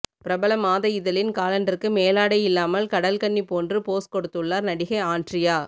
பிரபல மாத இதழின் காலண்டருக்கு மேலாடை இல்லாமல் கடல் கன்னி போன்று போஸ் கொடுத்துள்ளார் நடிகை ஆன்ட்ரியா